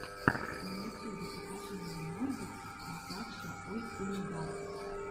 на ютьюбе покажи мне морбид казакша ойындар